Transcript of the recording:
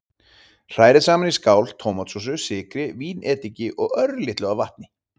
Hrærið saman í skál tómatsósu, sykri, vínediki og örlitlu af vatni.